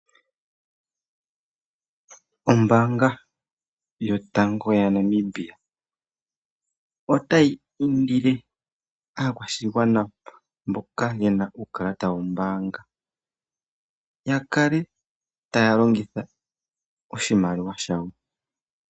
Ombaanga yotango yaNamibia, otayi indile aakwashigwana mboka ye na uukalata wombaanga, yakale taa longitha oshimaliwa shawo.